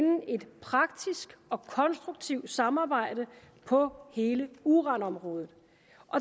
et praktisk og konstruktivt samarbejde på hele uranområdet